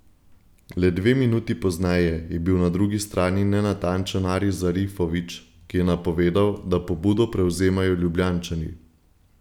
Le dve minuti pozneje je bil na drugi strani nenatančen Aris Zarifović, ki je napovedal, da pobudo prevzemajo Ljubljančani.